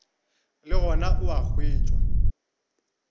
le gona o a hwetšwa